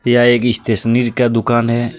यह आयेगी स्टेशनीर का दूकान है यहाँ--